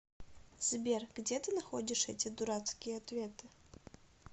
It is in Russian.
сбер где ты находишь эти дурацкие ответы